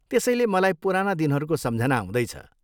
त्यसैले मलाई पुराना दिनहरूको सम्झना आउँदैछ।